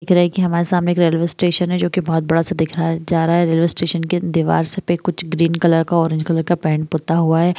हमारे सामने एक रेलवे स्टेशन है जो की बहुत बड़ा सा दिखया जा रहा है| रेलवे स्टेशन के दीवार से pink green colour orange colour का पेट पुता हुआ है।